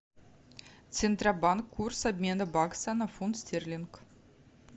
центробанк курс обмена бакса на фунт стерлинг